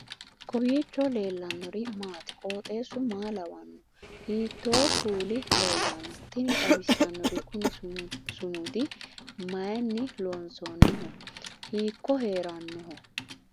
kowiicho leellannori maati ? qooxeessu maa lawaanno ? hiitoo kuuli leellanno ? tini xawissannori kuni sumudi maayinni loonsoonniho hiikko heerannoho